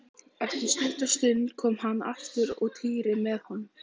Eftir stutta stund kom hann aftur og Týri með honum.